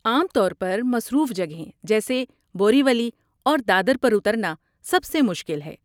عام طور پر، مصروف جگہیں جیسے بوری ولی اور دادر پر اترنا سب سے مشکل ہے۔